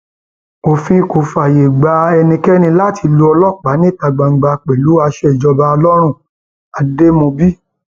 òfin kò fààyè gba ẹnikẹni láti lu ọlọpàá níta gbangba pẹlú aṣọ ìjọba lọrùnademóbì